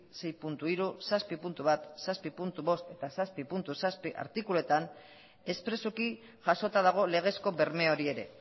sei puntu hiru zazpi puntu bat zazpi puntu bost eta zazpi puntu zazpi artikuluetan espresuki jasota dago legezko berme hori ere